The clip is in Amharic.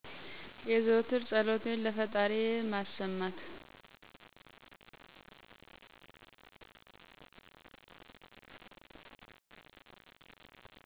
የዘወትር ፀሎቴን ለፈጣሪዬ ማሰማት